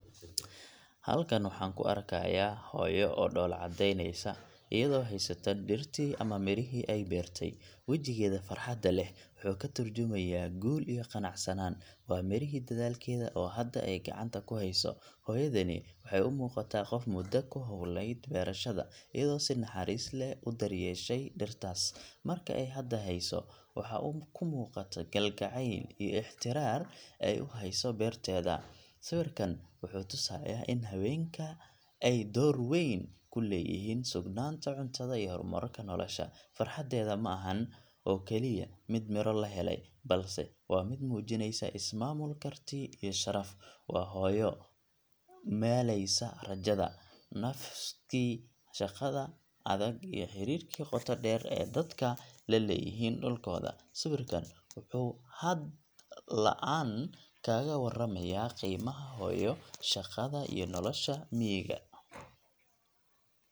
Halkan waxaan ka aragnaa hooyo oo dhoolla-caddaynaysa iyadoo haysata dhirtii ama mirihii ay beertay. Wajigeeda farxadda leh wuxuu ka tarjumayaa guul iyo qanacsanaan waa midhihii dadaalkeeda oo hadda ay gacanta ku hayso. Hooyadani waxay u muuqataa qof muddo ku hawlanayd beerashada, iyadoo si naxariis leh u daryeeshay dhirtaas. Marka ay hadda hayso, waxaa ka muuqata kalgacayl iyo ixtiraar ay u hayso beerteeda. Sawirkan wuxuu na tusayaa in haweenka ay door weyn ku leeyihiin sugnaanta cuntada iyo horumarka nolosha. Farxaddeeda ma ahan oo kaliya mid miro la helay, balse waa mid muujinaysa is-maamul, karti iyo sharaf. Waa hooyo maalaysa rajada, nafiskii shaqada adag iyo xiriirka qoto dheer ee dadka la leeyihiin dhulkooda. Sawirkan wuxuu hadal la’aan kaaga warramayaa qiimaha hooyo, shaqada, iyo nolosha miyiga ee Soomaaliyeed.